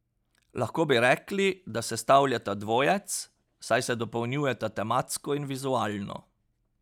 Lahko bi rekli, da sestavljata dvojec, saj se dopolnjujeta tematsko in vizualno.